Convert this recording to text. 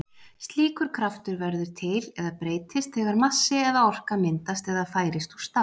Slíkur kraftur verður til eða breytist þegar massi eða orka myndast eða færist úr stað.